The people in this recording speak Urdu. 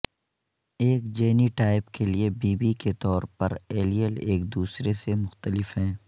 ایک جینیٹائپ کے لئے بی بی کے طور پر ایلیل ایک دوسرے سے مختلف ہیں